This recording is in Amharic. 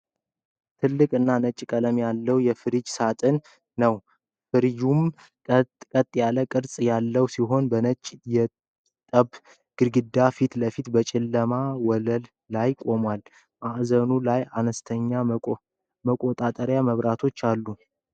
ትልቅ እና ነጭ ቀለም ያለው የፍሪዘር ሳጥን (ቼስት ፍሪዘር) ነው ። ፍሪዘሩ ቀጥ ያለ ቅርጽ ያለው ሲሆን ፣ በነጭ የጡብ ግድግዳ ፊት ለፊት በጨለማ ወለል ላይ ቆሟል። በማዕዘኑ ላይ አነስተኛ መቆጣጠሪያ መብራቶች አሉ።